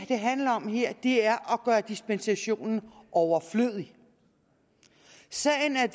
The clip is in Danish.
handler om her er at gøre dispensationen overflødig sagen er